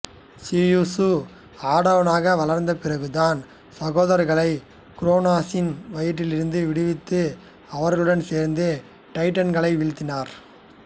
Zeus ஆடவனாக வளரந்த பிறகு தன் சகோதரர்களை குரோனசின் வயிற்றிலிருந்து விடுவித்து அவர்களுடன் சேரந்து டைட்டன்களை வீழ்த்தினார்